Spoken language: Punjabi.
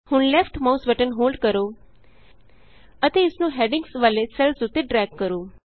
ਹੁਣ ਲੈਫਟ ਮਾਉਸ ਬਟਨ ਹੋਲਡ ਕਰੋ ਅਤੇ ਇਸ ਨੂੰ ਹੈਡਿੰਗਸ ਵਾਲੇ ਸੈੱਲਸ ਉਤੇ ਡਰੈਗ ਕਰੋ